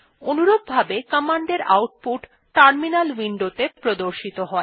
অনুরূপভাবে কমান্ডের output terminal উইন্ডোত়ে প্রদর্শিত হয়